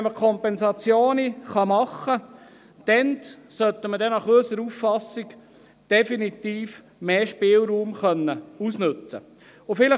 Wenn man aber Kompensationen machen kann, sollte man aber definitiv mehr Spielraum ausnützen können.